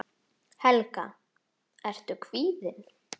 Helga: Ertu kvíðinn?